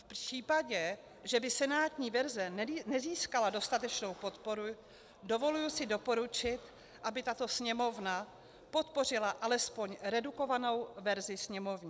V případě, že by senátní verze nezískala dostatečnou podporu, dovoluji si doporučit, aby tato Sněmovna podpořila alespoň redukovanou verzi sněmovní.